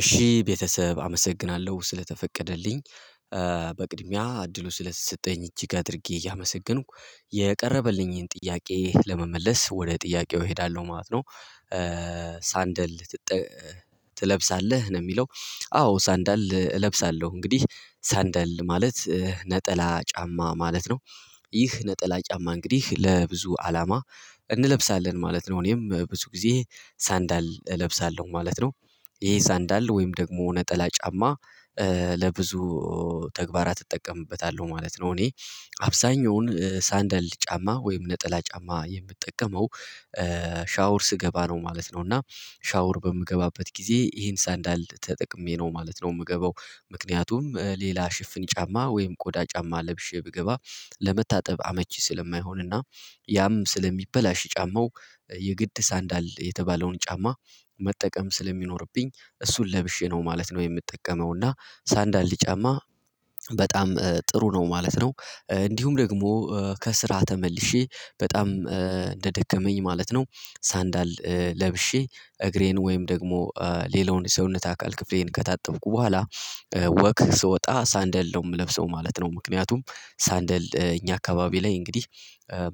እሺ ቤተሰብ አመሰግናለሁ ስለተፈቀደልኝ በቅድሚያ እድሉ ስለተሰጠኝ እጅግ አድርጌ እያመሰገንኩ የቀረበልኝን ጥያቄ ለመመለስ ወደ ጥያቄው እሄዳለሁ ማለት ነው። ሳንደል ትለብሳለህ ነው የሚለው? አዎ ሳንደል እለብሳለሁ እንግዲህ ሳንደል ማለት ነጠላ ጫማ ማለት ነው። ይህ ነጠላ ጫማ እንግዲህ ለብዙ አላማ እንለብሳለን ማለት ነው እኔም ብዙ ጊዜ ሳንዳል እለብሳለሁ ማለት ነው። ይሄ ሳንዳል ወይም ደግሞ ነጠላ ጫማ ለብዙ ተግባራት እጠቀምበታለሁ ማለት ነው። እኔ አብዛኛውን ሳንደል ጫማ ወይም ነጠላ ጫማ የምጠቀመው ሻወር ስገባ ነው ማለት ነው። እና ሻውር በምገባበት ጊዜ ይሄን ሳንዳል ተጠቅሜ ነው ማለት ነው። የምገባው ምክንያቱም ሌላ ሽፍን ጫማ ወይም ቆዳ ጫማ ለብሼ ብገባ ለመታጠብ አመቺ ስለማይሆንና ያም ስለሚበላሽ ጫማው የግድ ሳንዳል የተባለውን ጫማ መጠቀም ስለሚኖርብኝ እሱን ለብሼ ነው ማለት ነው። የምጠቀመው እና ሳንዳል ጫማ በጣም ጥሩ ነው ማለት ነው። እንዲሁም ደግሞ ከስራ ተመልሼ በጣም እንደደከመኝ ማለት ነው። ሳንዳል ለብሼ እግሬን ወይም ደግሞ ሌላውን ሰውነት አካል ክፍሌን ከታጠብኩ በኋላ ወክ ስወጣ ሳንደል ነው የምለብሰው ማለት ነው። ምክንያቱም ሳንደል እኛ አካባቢ ላይ እንግዲህ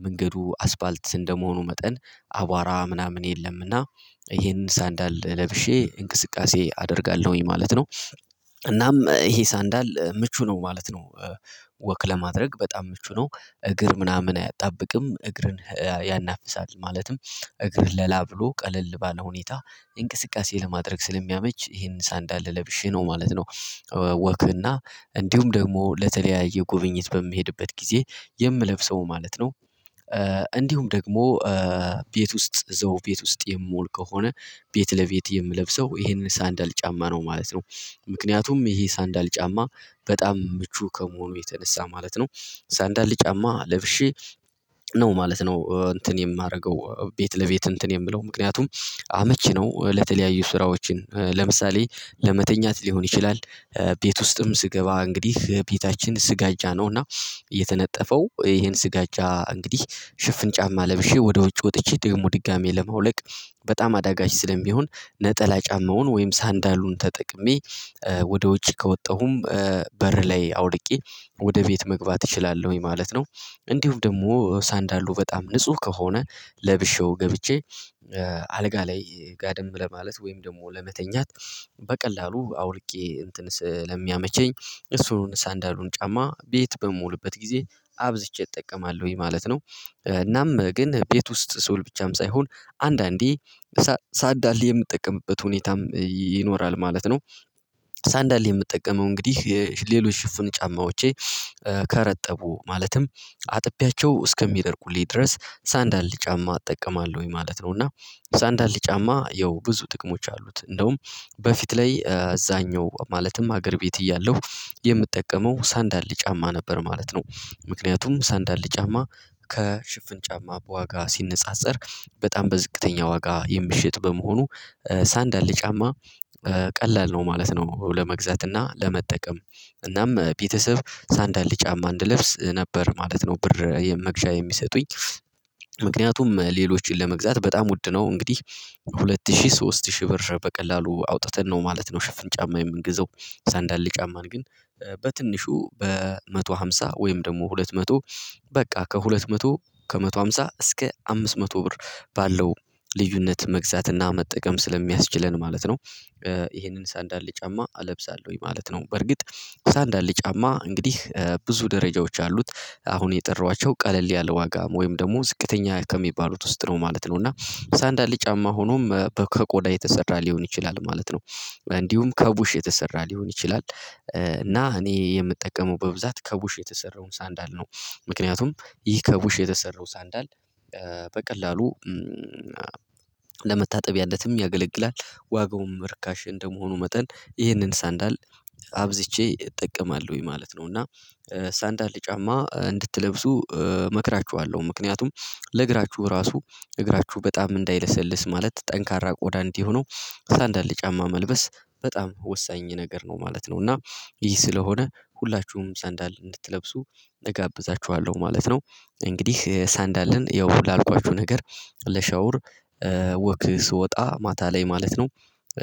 መንገዱ አስፋልት እንደመሆኑ መጠን አቧራ ምናምን የለምና ይሄንን ሳንዳል ለብሼ እንቅስቃሴ አደርጋለሁኝ ማለት ነው። እናም ይሄ ሳንዳል ምቹ ነው ማለት ነው። ወክ ለማድረግ በጣም ምቹ ነው እግር ምናምን አያጣብቅም እግርን ያናፍሳል ማለትም እግር ለላ ብሎ ቀለል ባለ ሁኔታ እንቅስቃሴ ለማድረግ ስለሚያመች ይሄንን ሳንዳለ ለብሼ ነው ማለት ነው። ወክና እንዲሁም ደግሞ ለተለያየ ጉብኝት በሚሄድበት ጊዜ የምለብሰው ማለት ነው። እንዲሁም ደግሞ ቤት ውስጥ እዚው ቤት ውስጥ የምውል ከሆነ ቤት ለቤት የምለብሰው ይሄንን ሳንዳል ጫማ ነው ማለት ነው። ምክንያቱም ይሄ ሳንዳል ጫማ በጣም ምቹ ከመሆኑ የተነሳ ማለት ነው ሳንዳል ጫማ ለብሼ ነው ማለት ነው። እንትን የማደርገው ቤት ለቤት እንትን የምለው ምክንያቱም አመቺ ነው ለተለያዩ ስራዎችን ለምሳሌ ለመተኛት ሊሆን ይችላል። ቤት ውስጥም ስገባ እንግዲህ ቤታችን ስጋጃ ነውና የተነጠፈው ይሄን ስጋጃ እንግዲህ ሽፍን ጫማ ለብሼ ወደ ውጭ ወጥቼ ደግሞ ድጋሚ ለማውለቅ በጣም አዳጋች ስለሚሆን ነጠላ ጫማውን ወይም ሳንዳሉን ተጠቅሜ ወደ ውጭ ከወጣሁም በር ላይ አውልቄ ወደ ቤት መግባት እችላለሁኝ ማለት ነው። እንዲሁም ደግሞ ሳንዳሉ በጣም ንጹህ ከሆነ ለብሼው ገብቼ አልጋ ላይ ጋደም ለማለት ወይም ደግሞ ለመተኛት በቀላሉ አውልቄ እንትንስ ለሚያመቸኝ እሱን ሳንዳሉን ጫማ ቤት በሞውልበት ጊዜ አብዝቼ እጠቀማለሁኝ ማለት ነው። እናም ግን ቤት ውስጥ ስውል ብቻም ሳይሆን አንዳንዴ ሳንዳል የምጠቀምበት ሁኔታም ይኖራል ማለት ነው። ሳንዳል የምጠቀመው እንግዲህ የሌሎች ሽፍን ጫማዎቼ ከረጠቡ ማለትም አጥቢያቸው እስከሚደርቁልኝ ድረስ ሳንዳል ጫማ እጠቀማለሁኝ ማለት ነው። እና ሳንዳል ጫማ ያው ብዙ ጥቅሞች አሉት እንደውም በፊት ላይ አዛኛው ማለትም ሀገር ቤት እያለሁ የምጠቀመው ሳንዳል ጫማ ነበር ማለት ነው። ምክንያቱም ሳንዳል ጫማ ከሽፍን ጫማ በዋጋ ሲነጻጸር በጣም በዝቅተኛ ዋጋ የምሽጥ በመሆኑ ሳንዳል ጫማ ቀላል ነው ማለት ነው። ለመግዛት እና ለመጠቀም እናም ቤተሰብ ሳንዳል ጫማ እንድለብስ ነበር ማለት ነው ብር መግዣ የሚሰጡኝ ምክንያቱም ሌሎችን ለመግዛት በጣም ውድ ነው እንግዲህ ሁለት ሺህ ሶስት ሺህ ብር በቀላሉ አውጥተን ነው ማለት ነው። ሽፍን ጫማ የምንግዛው ሳንዳል ጫማን ግን በትንሹ በመቶ ሃምሳ ወይም ደግሞ ሁለት መቶ በቃ ከሁለት መቶ ከመቶ ሃምሳ እስከ አምስት መቶ ብር ባለው ልዩነት መግዛትና መጠቀም ስለሚያስችለን ማለት ነው። ይሄንን ሳንዳል ጫማ እለብሳለሁኝ ማለት ነው። በርግጥ ሳንዳል ጫማ እንግዲህ ብዙ ደረጃዎች አሉት አሁን የጠራኋቸው ቀለል ያለ ዋጋ ወይም ደግሞ ዝቅተኛ ከሚባሉት ውስጥ ነው ማለት ነው። እና ሳንዳል ጫማ ሆኖም ከቆዳ የተሰራ ሊሆን ይችላል ማለት ነው። እንዲሁም ከቡሽ የተሰራ ሊሆን ይችላል እና እኔ የምጠቀመው በብዛት ከቡሽ የተሰራውን ሳንዳል ነው ምክንያቱም ይህ ከቡሽ የተሰራው ሳንዳል በቀላሉ ለመታጠቢያነትም ያገለግላል ዋጋውም ርካሽ እንደመሆኑ መጠን ይህንን ሳንዳል አብዝቼ እጠቀማለሁኝ ማለት ነው። እና ሳንዳል ጫማ እንድትለብሱ እመክራችኋለሁ ምክንያቱም ለእግራችሁ ራሱ እግራችሁ በጣም እንዳይለሰልስ ማለት ጠንካራ ቆዳ እንዲሆነው ሳንዳለ ጫማ መልበስ በጣም ወሳኝ ነገር ነው ማለት ነው። እና ይህ ስለሆነ ሁላችሁም ሳንዳል እንድትለብሱ እጋብዛችኋለሁ ማለት ነው። እንግዲህ ሳንዳልን ያው ሁሉ ላልኳችሁ ነገር ለሻውር ወክ ስወጣ ማታ ላይ ማለት ነው።